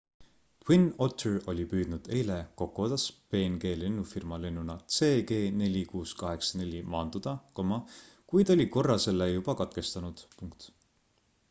twin otter oli püüdnud eile kokodas png lennufirma lennuna cg4684 maanduda kuid oli korra selle juba katkestanud